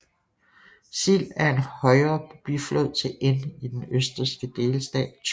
Sill er en højre biflod til Inn i den østrigske delstat Tyrol